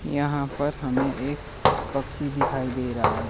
यहां पर हमें एक पक्षी दिखाई दे रहा है।